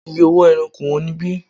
Iye owó ẹran kò wón ní ibí.